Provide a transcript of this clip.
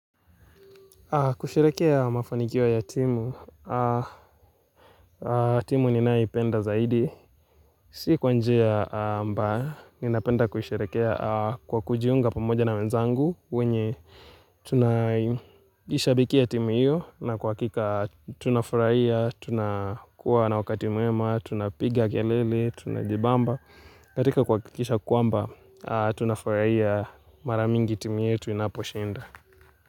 Kusherehekea mafanikio ya timu, timu ninaipenda zaidi, si kwa njia mbaya, ninapenda kuisherehekea kwa kujiunga pamoja na wenzangu wenye tuna ishabikia timu hiyo na kwa hakika tunafurahia, tunakuwa na wakati mwema, tunapiga kelele, tunajibamba, katika kuhakikisha kwamba tunafurahia mara mingi timu yetu inaposhinda.